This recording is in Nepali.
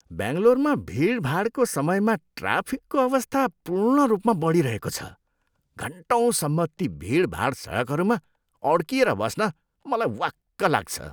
बेङ्गलोरमा भिडभाडको समयमा ट्राफिकको अवस्था पूर्ण रूपमा बडिरहेको छ। घन्टौँसम्म ती भिडभाड सडकहरूमा अड्किएर बस्न मलाई वाक्क लाग्छ।